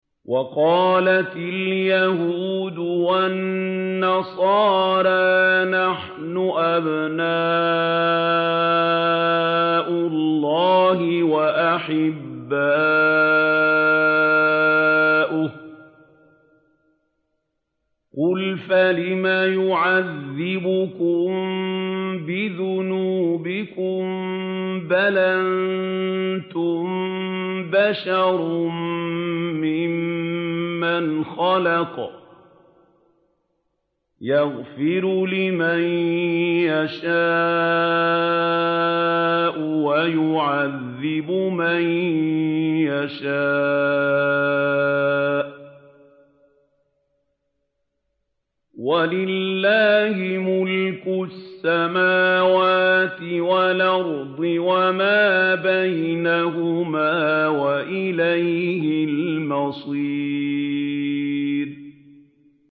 وَقَالَتِ الْيَهُودُ وَالنَّصَارَىٰ نَحْنُ أَبْنَاءُ اللَّهِ وَأَحِبَّاؤُهُ ۚ قُلْ فَلِمَ يُعَذِّبُكُم بِذُنُوبِكُم ۖ بَلْ أَنتُم بَشَرٌ مِّمَّنْ خَلَقَ ۚ يَغْفِرُ لِمَن يَشَاءُ وَيُعَذِّبُ مَن يَشَاءُ ۚ وَلِلَّهِ مُلْكُ السَّمَاوَاتِ وَالْأَرْضِ وَمَا بَيْنَهُمَا ۖ وَإِلَيْهِ الْمَصِيرُ